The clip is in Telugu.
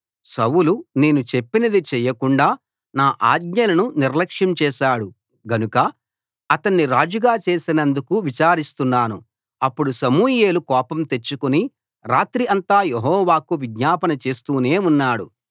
సౌలు నేను చెప్పినది చేయకుండా నా ఆజ్ఞలను నిర్లక్ష్యం చేశాడు గనుక అతణ్ణి రాజుగా చేసినందుకు విచారిస్తున్నాను అప్పుడు సమూయేలు కోపం తెచ్చుకుని రాత్రి అంతా యెహోవాకు విజ్ఞాపన చేస్తూనే ఉన్నాడు